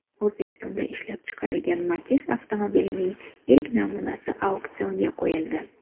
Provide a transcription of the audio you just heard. O‘zbekistonda ishlab chiqarilgan Matiz avtomobilining ilk namunasi auksionga qo‘yildi.